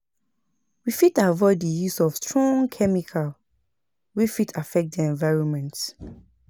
We fit avoid di use of strong chemical wey fit affect di environment